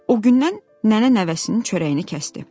O gündən nənə nəvəsinin çörəyini kəsdi.